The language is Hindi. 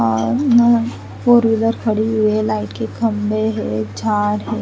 और इन्होंने फोर व्हीलर खड़ी हुए है लाइट के खंबे है झाड़ है।